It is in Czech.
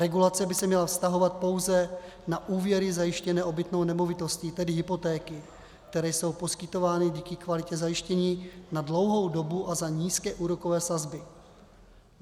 Regulace by se měla vztahovat pouze na úvěry zajištěné obytnou nemovitostí, tedy hypotéky, které jsou poskytovány díky kvalitě zajištění na dlouhou dobu a za nízké úrokové sazby.